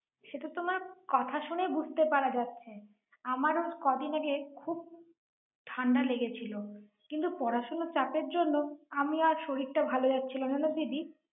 সে তো তোমার কথা শুনেই বুঝতে পারা যাচ্ছে। আমারও কদিন আগে খুব ঠান্ডা লেগেছিল। কিন্তু পড়াশোনার চাপের জন্য আমি আর শরীরটা ভাল যাচ্ছিল না জানো দিদি।